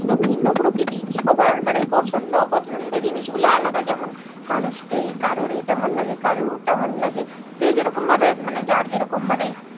ভিন্ন প্রকৃতির সবার মানে সবার পছন্দ অপছন্দ জিনিস গুলো আলাদা যেমন মানুষকে কারর এটা ভালো লাগে কারর ওটা ভালো লাগে যে যে রকম ভাবে যার যেরকম মানে,